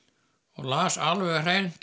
og las alveg hreint